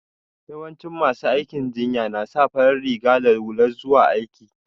Yawancin masu aikin jinya na sa fari riga da hula zuwa aiki.